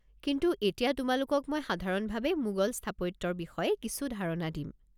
কিন্তু এতিয়া তোমালোকক মই সাধাৰণভাৱে মোগল স্থাপত্যৰ বিষয়ে কিছু ধাৰণা দিম।